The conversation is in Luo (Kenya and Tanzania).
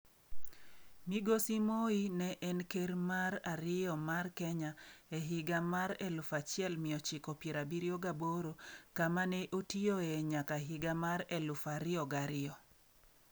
Migosi Moi ne en ker mar ariyo mar Kenya e higa mar 1978 kama ne otiyoe nyaka higa mar 2002.